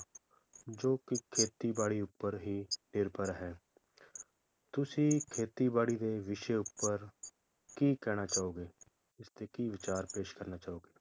ਜੋ ਕਿ ਖੇਤੀ ਬਾੜੀ ਉਪਰ ਹੀ ਨਿਰਭਰ ਹੈ ਤੁਸੀਂ ਖੇਤੀ ਬਾੜੀ ਦੇ ਵਿਸ਼ੇ ਉਪਰ ਕੀ ਕਹਿਣਾ ਚਾਹੋਗੇ, ਇਸਤੇ ਕੀ ਵਿਚਾਰ ਪੇਸ਼ ਕਰਨਾ ਚਾਹੋਗੇ?